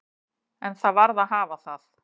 En það varð að hafa það.